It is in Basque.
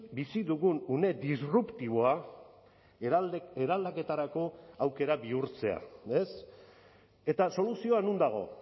bizi dugun une disruptiboa eraldaketarako aukera bihurtzea ez eta soluzioa non dago